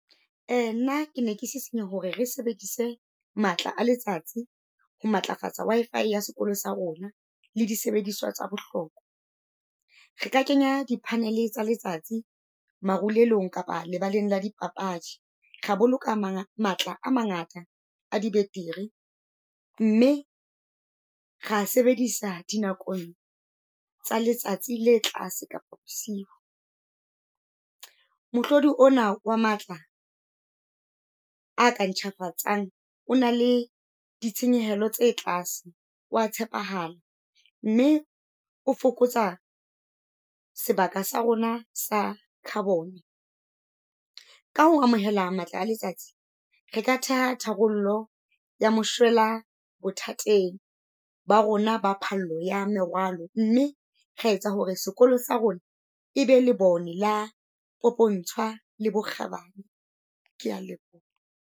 Um nna ke ne ke sisinya hore re sebedise matla a letsatsi ho matlafatsa Wi-Fi ya sekolo sa rona le di sebediswa tsa bohlokwa. Re ka kenya di-panel tsa letsatsi, marulelong kapa lebaleng la dipapadi. Ra boloka matla a mangata a dibetiri, mme ra sebedisa dinakong tsa letsatsi le tlase kapa bosiu. Mohlodi ona wa matla a ka ntjhafatsang, o na le di tshenyehelo tse tlase wa tshepahala. Mme o fokotsa sebaka sa rona sa carbon. Ka ho amohela matla a letsatsi re ka theha tharollo ya moshwela bothateng ba rona ba phallo ya merwalo, mme ra etsa hore sekolo sa rona e be lebone la popontshwa le bokgabane. Kea leboha.